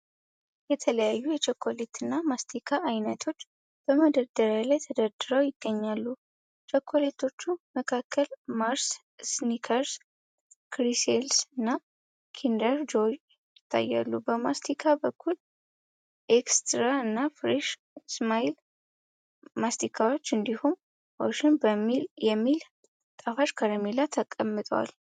የተለያዩ የቸኮሌትና ማስቲካ ዓይነቶች በመደርደሪያ ላይ ተደርድረው ይገኛሉ። ከቸኮሌቶቹ መካከል ማርስ፣ ስኒከርስ፣ ፍሪሴልስ እና ኪንደር ጆይ ይታያሉ። በማስቲካ በኩል ኤክስትራ እና ፍሬሽ ስማይል ማስቲካዎች እንዲሁም ኦሽን የሚባል ጣፋጭ ከረሜላ ተቀምጧል።